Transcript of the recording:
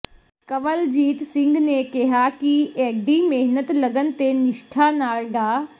ਕੰਵਲਜੀਤ ਸਿੰਘ ਨੇ ਕਿਹਾ ਕਿ ਏਡੀ ਮਿਹਨਤ ਲਗਨ ਤੇ ਨਿਸ਼ਠਾ ਨਾਲ ਡਾ